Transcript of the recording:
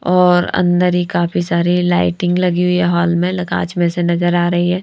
और अंदर ही काफी सारी लाइटिंग लगी हुई है हॉल में लगाच में से नजर आ रही है।